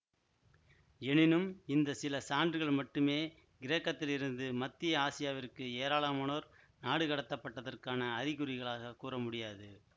எனினும் இந்த சில சான்றுகள் மட்டுமே கிரேக்கத்திலிருந்து மத்திய ஆசியாவிற்கு ஏராளமானோர் நாடுகடத்தப்பதற்கான அறிகுறிகளாகக் கூற முடியாது